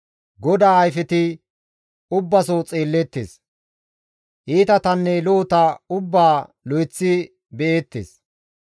GODAA ayfeti ubbaso xeelleettes; iitatanne lo7ota ubbaa lo7eththi be7eettes.